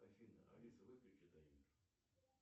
афина алиса выключи таймер